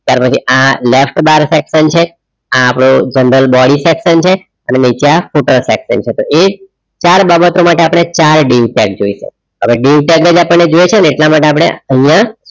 ત્યાર પછી આ left બાર sector છે આ આપણો general section છે અને પછી આ section છે ચાર બાબતો આપણે માટે આપણે ચાર જોઈશે હવે આપણે જોઈએ છે ને એટલા માટે અહિયાં